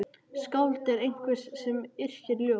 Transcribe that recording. Skáld er einhver sem yrkir ljóð.